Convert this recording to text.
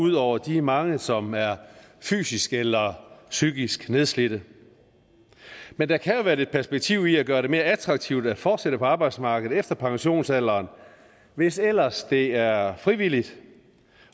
ud over de mange som er fysisk eller psykisk nedslidte men der kan jo være lidt perspektiv i at gøre det mere attraktivt at fortsætte på arbejdsmarkedet efter pensionsalderen hvis ellers det er frivilligt